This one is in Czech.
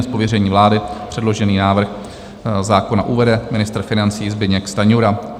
Z pověření vlády předložený návrh zákona uvede ministr financí Zbyněk Stanjura.